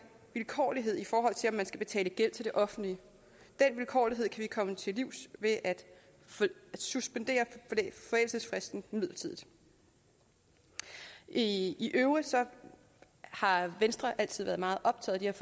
vilkårlighed i forhold til om man skal betale gæld til det offentlige den vilkårlighed kan vi komme til livs ved at suspendere forældelsesfristen midlertidigt i øvrigt har venstre altid været meget optaget af